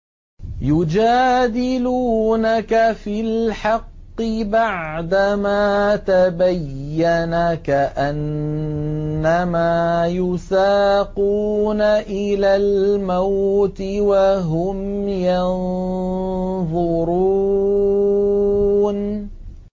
يُجَادِلُونَكَ فِي الْحَقِّ بَعْدَمَا تَبَيَّنَ كَأَنَّمَا يُسَاقُونَ إِلَى الْمَوْتِ وَهُمْ يَنظُرُونَ